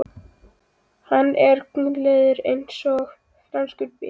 Hann er guleygður eins og franskur bíll